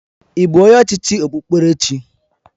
Ị bụ onye ọchịchị okpukperechi?